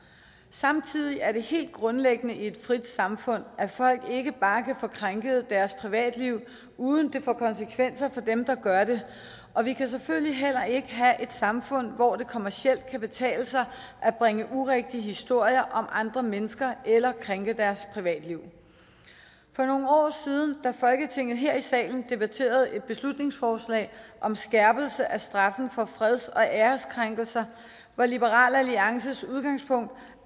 samtidig er det helt grundlæggende i et frit samfund at folk ikke bare kan få krænket deres privatliv uden det får konsekvenser for dem der gør det og vi kan selvfølgelig heller ikke have et samfund hvor det kommercielt kan betale sig at bringe urigtige historier om andre mennesker eller krænke deres privatliv for nogle år siden da folketinget her i salen debatterede et beslutningsforslag om skærpelse af straffen for freds og æreskrænkelser var liberal alliances udgangspunkt